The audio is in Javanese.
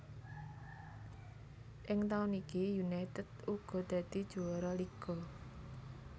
Ing taun iki United uga dadi juwara liga